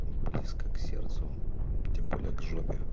близко к сердцу тем более к жопе